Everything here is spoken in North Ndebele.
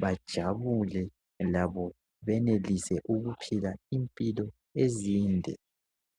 bajabule labo benelise ukuphila impilo ezinde.